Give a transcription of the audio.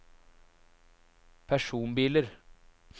personbiler